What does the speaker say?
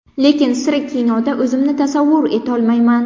Lekin sira kinoda o‘zimni tasavvur etolmayman.